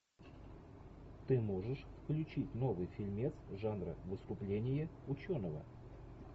ты можешь включить новый фильмец жанра выступление ученого